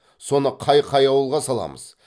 соны қай қай ауылға саламыз